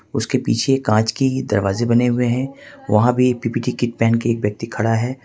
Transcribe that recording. उसके पीछे कांच की दरवाजे बने हुए हैं वहां भी पी पी कीट पहन के एक व्यक्ति खड़ा है।